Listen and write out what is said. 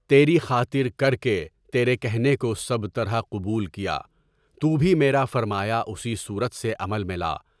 تیرے خاطر کر کے تیرے کہنے کو سب طرح قبول کیا، تُو بھی میرا فرمایا اسی صورت سے عمل میں لا۔